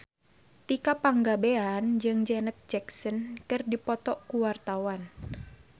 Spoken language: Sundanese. Tika Pangabean jeung Janet Jackson keur dipoto ku wartawan